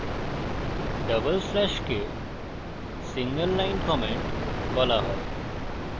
double স্ল্যাশকে single line comment বলা হয়